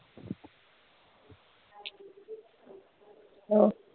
ਹਾਏ।